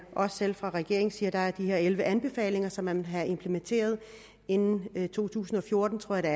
også selv fra regeringens side der er de her elleve anbefalinger som man vil have implementeret inden to tusind og fjorten tror jeg